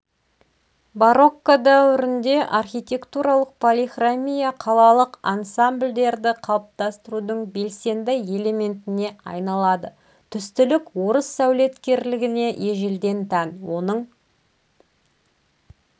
барокко дәуірінде архитектуралық полихромия қалалық ансамбльдерді қалыптастырудың белсенді элементіне айналады түстілік орыс сәулеткерлігіне ежелден тән оның